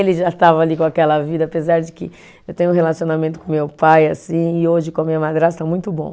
Ele já estava ali com aquela vida, apesar de que eu tenho um relacionamento com meu pai assim, e hoje com a minha madrasta, muito bom.